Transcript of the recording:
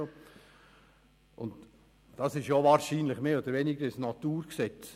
Wahrscheinlich ist das fast ein Naturgesetz.